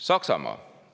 Saksamaa.